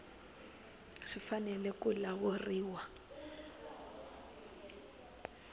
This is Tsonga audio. swi fanele ku lawuriwa hi